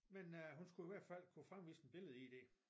Men øh hun skulle i hvert fald kunne fremvise et billedeid